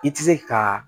I tɛ se ka